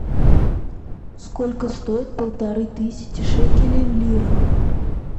сколько стоит полторы тысячи шекелей в лирах